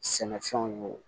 Sɛnɛfɛnw ye